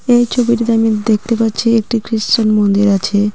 এই ছবিটিতে আমি দেখতে পাচ্ছি একটি খ্রীশ্চান মন্দির আছে।